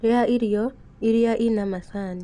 Rĩa irio iria ina macani.